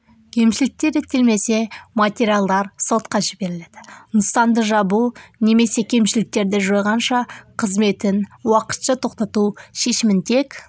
кемішіліктер реттелмесе материалдар сотқа жіберіледі нысанды жабу немесе кемшіліктерді жойғанша қызметін уақытша тоқтату шешімін тек